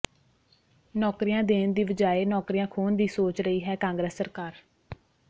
ਨੌਕਰੀਆਂ ਦੇਣ ਦੀ ਵਜਾਏ ਨੌਕਰੀਆਂ ਖੋਹਣ ਦੀ ਸੋਚ ਰਹੀ ਹੈ ਕਾਂਗਰਸ ਸਰਕਾਰ